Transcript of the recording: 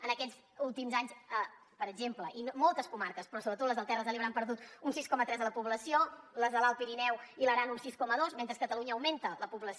en aquests últims anys per exemple i moltes comarques però sobretot les de les terres de l’ebre han perdut un sis coma tres de la població les de l’alt pirineu i l’aran un sis coma dos mentre que a catalunya augmenta la població